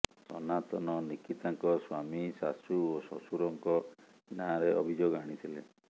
ସନାତନ ନିକିତାଙ୍କ ସ୍ୱାମୀ ଶାଶୂ ଓ ଶ୍ୱଶୁରଙ୍କ ନାଁରେ ଅଭିଯୋଗ ଆଣିଥିଲେ